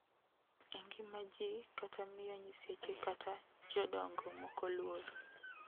e ngima ji kata miyo nyiseche kata jodongo moko luor.